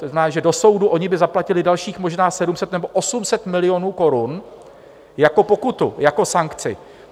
To znamená, že do soudu oni by zaplatili dalších možná 700 nebo 800 milionů korun jako pokutu, jako sankci.